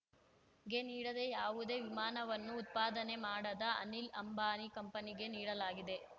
ಗೆ ನೀಡದೇ ಯಾವುದೇ ವಿಮಾನವನ್ನು ಉತ್ಪಾದನೆ ಮಾಡದ ಅನಿಲ್ ಅಂಬಾನಿ ಕಂಪನಿಗೆ ನೀಡಲಾಗಿದೆ